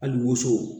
Hali woso